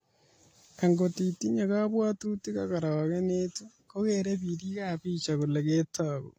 Agot itinye kabwatutik ak arogenet kokeerei birikab picha kole ketoku